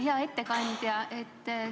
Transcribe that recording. Hea ettekandja!